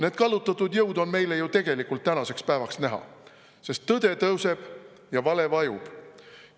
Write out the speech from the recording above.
Need kallutatud jõud on meile ju tegelikult tänaseks päevaks näha, sest tõde tõuseb ja vale vajub.